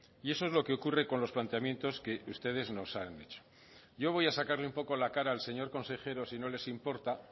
y eso es lo que ocurre con los planteamientos que ustedes nos han hecho yo voy a sacarle un poco la cara al señor consejero si no les importa